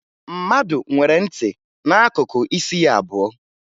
Mmadụ nwere ntị n'akụkụ isi ya abụọ